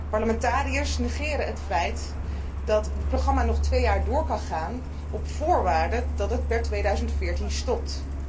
Parlementariërs negeren het feit dat het programma nog twee jaar door kan gaan op voorwaarde dat het per 2014 stopt.